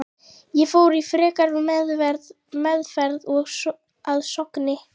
Ég fór í frekari meðferð að Sogni.